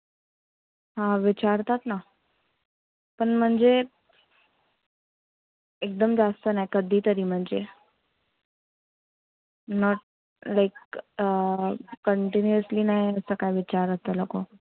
हा विचारतात ना. पण म्हणजे एकदम जास्त नाही. कधीतरी म्हणजे. not like अं continuously नाही, काय विचारत ते लोक.